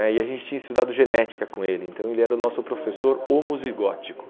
né e a gente tinha estudado genética com ele, então ele era o nosso professor homozigótico.